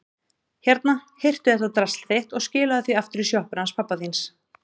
Hérna, hirtu þetta drasl þitt og skilaðu því aftur í sjoppuna hans pabba þíns.